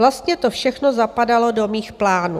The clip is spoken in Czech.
Vlastně to všechno zapadalo do mých plánů.